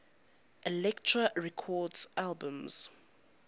elektra records albums